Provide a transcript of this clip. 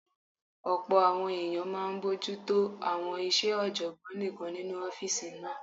Ọ̀pọ̀ àwọn èèyàn máa n bojútó àwọn iṣẹ́ ọ̀jọ̀gbọ́n nìkan nínu ọ́fìsì náà